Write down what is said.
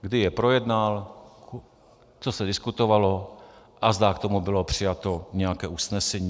Kdy je projednal, co se diskutovalo a zda k tomu bylo přijato nějaké usnesení.